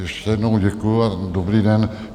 Ještě jednou děkuji a dobrý den.